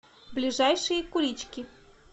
ближайший кулички